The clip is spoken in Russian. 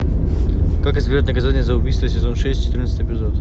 как избежать наказания за убийство сезон шесть четырнадцатый эпизод